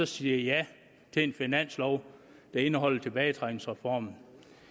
sige ja til en finanslov der indeholder tilbagetrækningsreformen